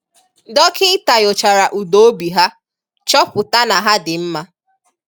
Dọkịta nyochara ụda obi ha, chọpụta na ha dị mma.